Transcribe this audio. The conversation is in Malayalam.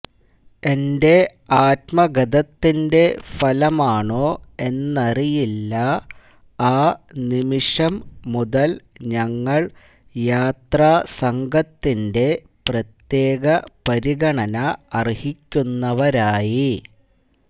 എന്റെ ആത്മഗതത്തിന്റെ ഫലമാണോ എന്നറിയില്ല ആ നിമിഷം മുതല് ഞങ്ങള് യാത്രാസംഘത്തിന്റെ പ്രത്യേക പരിഗണന അര്ഹിക്കുന്നവരായി